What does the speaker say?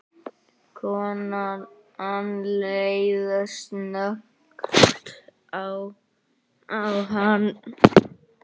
Konan leit snöggt á hann.